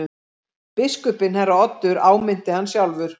Biskupinn herra Oddur áminnti hann sjálfur.